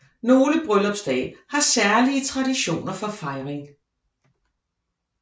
Nogle bryllupsdage har særlige traditioner for fejring